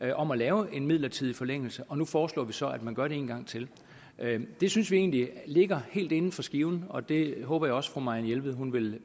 af om at lave en midlertidig forlængelse og nu foreslår vi så at man gør det en gang til det synes vi egentlig ligger helt inden for skiven og det håber jeg også at fru marianne jelved vil